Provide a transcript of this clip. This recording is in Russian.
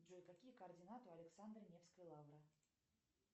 джой какие координаты у александра невской лавры